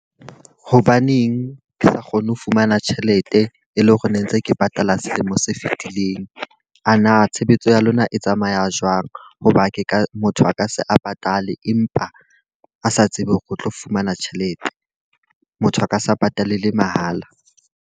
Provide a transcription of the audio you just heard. Hobaneng ke sa kgone ho fumana tjhelete, e leng hore ne ntse ke patala selemo se fitileng? A na tshebetso ya lona e tsamaya jwang? Hoba ke ka motho a ka se a patale empa a sa tsebe hore o tlo fumana tjhelete. Motho a ka sa patalele mahala.